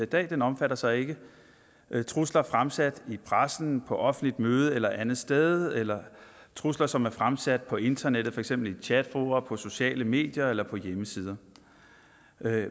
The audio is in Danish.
dag omfatter så ikke trusler fremsat i pressen på offentligt møde eller andet sted eller trusler som er fremsat på internettet for eksempel i chatfora på sociale medier eller på hjemmesider